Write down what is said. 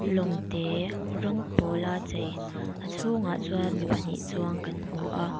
lawng te rawng pawla chei a chhungah chuan mi pahnih chuang kan hmu a--